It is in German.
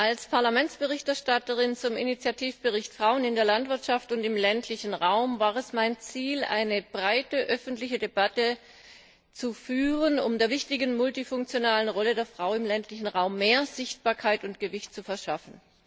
Als Parlamentsberichterstatterin für den Initiativbericht Frauen in der Landwirtschaft und im ländlichen Raum war es mein Ziel, eine breite öffentliche Debatte zu führen, um der wichtigen multifunktionalen Rolle der Frau im ländlichen Raum mehr Sichtbarkeit und Gewicht zu verschaffen.